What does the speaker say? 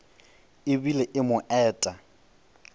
e bile e mo eta